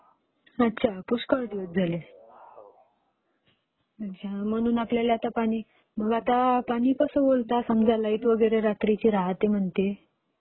अच्छा पुष्कळ दिवस झाले.